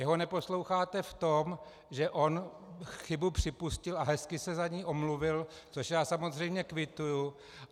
Jeho neposloucháte v tom, že on chybu připustil a hezky se za ni omluvil, což já samozřejmě kvituji.